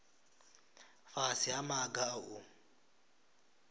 fhasi ha maga a u